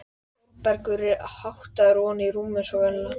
Þórbergur er háttaður ofan í rúm eins og venjulega.